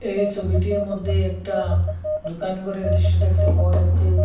এই ছবিটির মধ্যে একটা দুকান ঘরের দৃশ্য দেখতে পাওয়া যাচ্ছে।